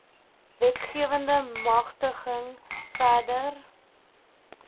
wetgewende magtiging verder